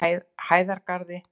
Hæðargarði